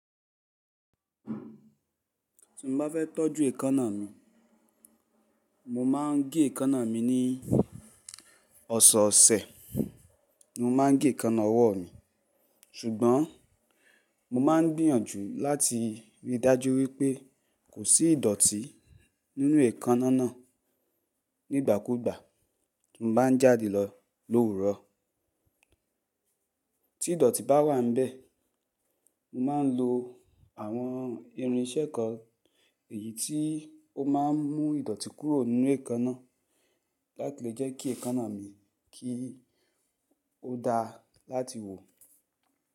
Tí mo bá fẹ́ tọ́jú èékánná mi, mo máa ń gé èékánná mi ní ọ̀sọ̀ọ̀sẹ̀ ni mo máa ń gé èékánná ọwọ́ mi. Ṣùgbọ́n mo máa ń gbìyànjú láti rí i dájú wípé kò sí ìdọ̀tí nínú èékánná náà nígbàkúgbà tí mo bá ń jáde lọ lówùrọ́. Tí ìdọ̀tí bá wà níbẹ̀, mo máa ń lo àwọn irinṣẹ́ kan èyí tí ó ma ń mú ìdọ̀tí kúrò nínú èékánná láti lè jẹ́ kí èékánná mi kí ó dá láti wò.